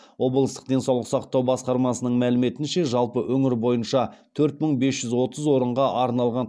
облыстық денсаулық сақтау басқармасының мәліметінше жалпы өңір бойынша төрт мың бес жүз отыз орынға арналған